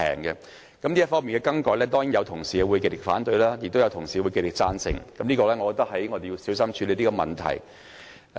如果這方面有任何更改，當然有同事會極力反對，亦有同事會極力贊成，我認為這問題必須小心處理。